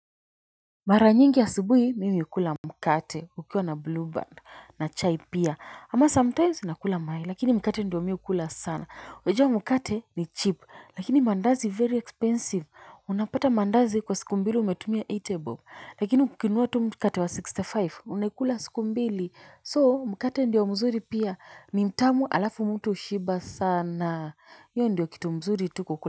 Mara nyingi asubuhi mimi hukula mkate ukiwa na blueband na chai pia ama sometimes nakula mayai lakini mkate ndio mimi hukula sana. Unajua mkate ni cheap lakini mandazi very expensive unapata mandazi kwa siku mbili umetumia themanini bob lakini ukinunua tu mkate wa sixty five unaikula siku mbili so mkate ndio mzuri pia ni mtamu alafu mtu hushiba sana hiyo ndio kitu mzuri tu kukula.